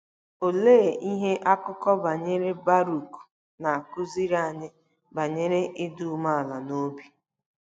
Olee ihe akụkọ banyere Barụk na-akụziri anyị banyere ịdị umeala n'obi?